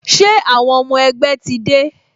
Ṣé àwọn ọmọ ẹgbẹ́ ti dé?